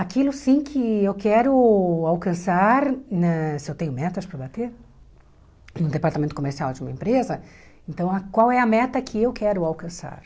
Aquilo sim que eu quero alcançar na, se eu tenho metas para bater, no departamento comercial de uma empresa, então qual é a meta que eu quero alcançar?